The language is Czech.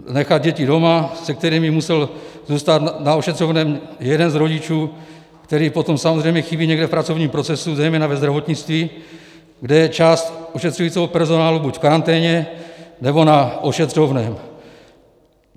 Nechat děti doma, se kterými musel zůstat na ošetřovném jeden z rodičů, který potom samozřejmě chybí někde v pracovním procesu, zejména ve zdravotnictví, kde je část ošetřujícího personálu buď v karanténě, nebo na ošetřovném.